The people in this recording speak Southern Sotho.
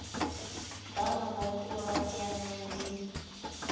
ba mabatowa ba teanang le